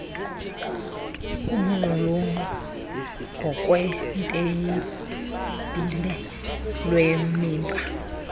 uqulunqo ngokwetheyibhile lwemiba